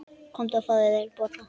Komdu og fáðu þér bollur.